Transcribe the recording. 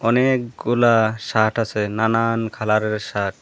অনেকগুলা শার্ট আছে নানান কালারের শার্ট ।